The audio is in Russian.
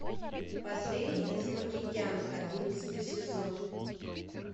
последний из магикян одиннадцатый сезон